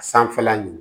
A sanfɛla ɲi